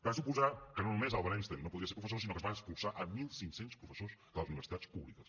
va suposar que no només albert einstein no podria ser professor sinó que es van expulsar mil cinc cents professors de les universitats públiques